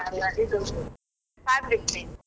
ಅಲ್ಲ ಇದು fabric paint .